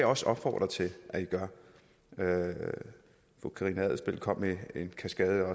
også opfordre til at i gør fru karina adsbøl kom med en kaskade af